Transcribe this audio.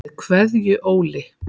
Með Kveðju Óli.